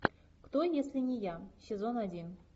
кто если не я сезон один